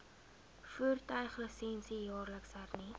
voertuiglisensie jaarliks hernu